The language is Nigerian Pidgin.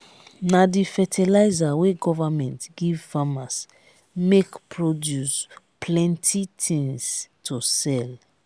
na di fertilizer wey government give farmers make produce plenty tins to sell.